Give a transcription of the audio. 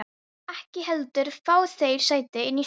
Viltu ekki heldur fá þér sæti inni í stofu?